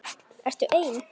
Ertu ein?